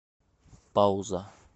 пауза